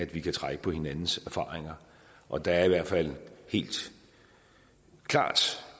vi kan trække på hinandens erfaringer og der er i hvert fald helt klart